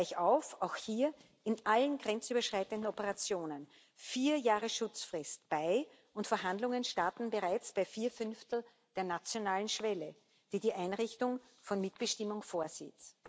Gleichauf auch hier in allen grenzüberschreitenden Operationen vier Jahre Schutzfrist und Verhandlungen starten bereits bei vier Fünftel der nationalen Schwelle, die die Einrichtung von Mitbestimmung vorsieht.